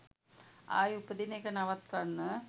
ආයේ උපදින එක නවත්වන්න